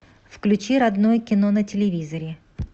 включи родное кино на телевизоре